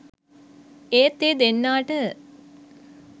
ඒත් ඒ දෙන්නාට